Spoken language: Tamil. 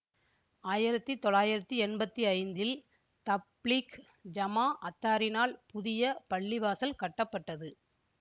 ஆயிரத்தி தொள்ளாயிரத்தி எம்பத்தி ஐந்தில் தப்லீக் ஜமாஅத்தாரினால் புதிய பள்ளிவாசல் கட்டப்பட்டது